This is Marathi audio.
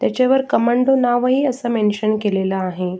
त्याच्यावर कमांडो नावही असं मेन्शन केलेल आहे.